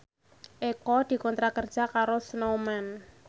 Eko dikontrak kerja karo Snowman